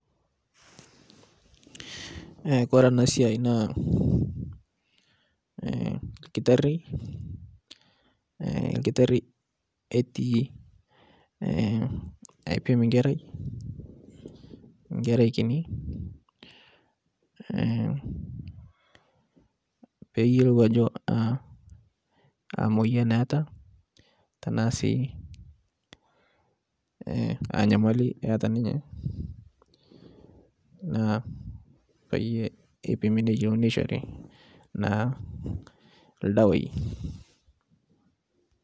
Kore ana siai naa lkitari eti aipim nkerai nkini peyelou ajo amoyan eeta tanasii anyamali eata ninye naa payie ipimi neyelouni neishore naa ldawai.